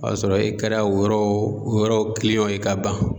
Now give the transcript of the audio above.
O y'a sɔrɔ e kɛra o yɔrɔ o yɔrɔ ye ka ban.